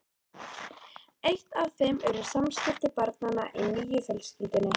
Eitt af þeim eru samskipti barnanna í nýju fjölskyldunni.